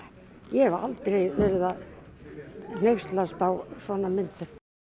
ég hef aldrei verið að hneykslast á svona myndum